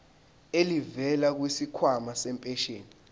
elivela kwisikhwama sempesheni